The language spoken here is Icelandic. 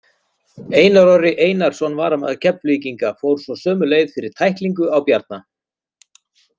Einar Orri Einarsson, varamaður Keflvíkinga, fór svo sömu leið fyrir tæklingu á Bjarna.